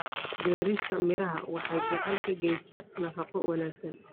Beerista miraha waxay gacan ka geysataa nafaqo wanaagsan.